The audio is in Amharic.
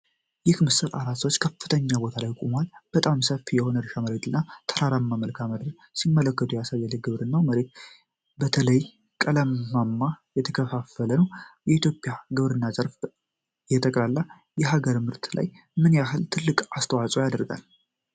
ይህ ምስል አራት ሰዎች ከፍተኛ ቦታ ላይ ቆመው፣ በጣም ሰፊ የሆነ የእርሻ መሬት እና ተራራማ መልክዓ ምድርን ሲመለከቱ ያሳያል። የግብርናው መሬት በተለያዩ ቀለማት የተከፋፈለ ነው። የኢትዮጵያ ግብርና ዘርፍ በጠቅላላ የሀገር ምርት ላይ ምን ያህል ትልቅ አስተዋጽኦ ያደርጋል?